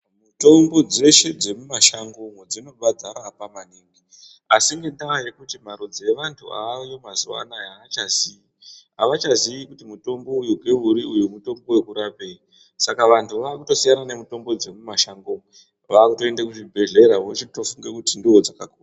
Tombo dzeshe dsemumashango dzobva dzarapa maningi. Asi ngendaa yekuti marudzi evantu vaayo mazuwa anaya aachazii, avachaziii kuti mutombo uyu ngeuri mutombo wekurapei saka vantu vakutosiyana nemitombo dzemumashango umo vakutoende kuzvibhedhlera vochitofunge kuti ndodzakako.